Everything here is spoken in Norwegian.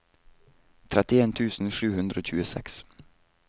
trettien tusen sju hundre og tjueseks